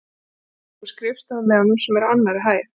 Ég fór upp á skrifstofu með honum sem er á annarri hæð.